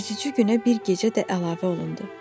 Üzücü günə bir gecə də əlavə olundu.